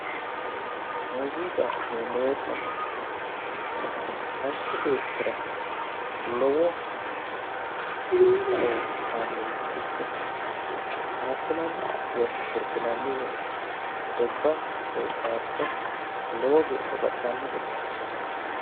Muuziqa yineemo woyte manchi beetira lowo kakaoshe aanoricho ikke faarisinanni woyi sirbinanni woyte sirbba woy faariso lowo geesha baxisano gede asanorichooti